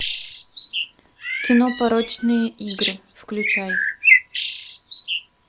кино порочные игры включай